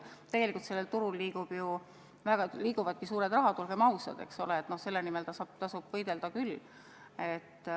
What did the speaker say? Tegelikult sellel turul liiguvadki suured rahad ja olgem ausad, selle nimel tasub võidelda küll.